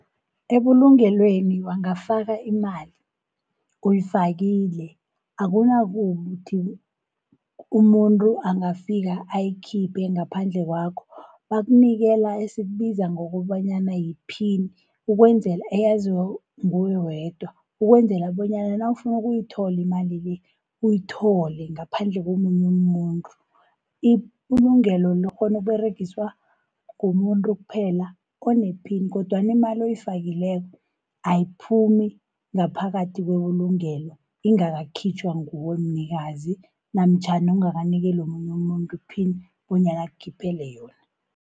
Ebulungelweni wangafaka imali, uyifakile akunakuthi umuntu angafika ayikhiphe ngaphandle kwakho. Bakunikela esikubiza ngokobanyana yiphini, eyaziwa nguwe wedwa. Ukwenzela bonyana nawufuna ukuyithola imali le, uyithole ngaphandle komunye umuntu. Ibulungelo likghona ukUberegiswa ngumuntu kuphela onephini, kodwana imali oyifakileko ayiphumi ngaphakathi kwebulungelo ingakakhitjhwa nguwe mnikazi, namtjhana ungakanikeli omunye umuntu iphini, bonyana akhiphele yona.